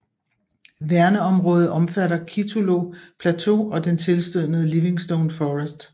Værneområdet omfatter Kitulo Plateau og den tilstødende Livingstone Forest